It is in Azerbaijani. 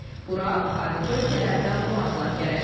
Bura xarici ölkələrdən qonaqlar gələcək.